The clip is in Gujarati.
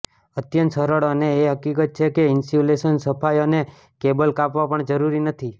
અત્યંત સરળ અને એ હકીકત છે કે ઇન્સ્યુલેશન સફાઈ અને કેબલ કાપવા પણ જરૂરી નથી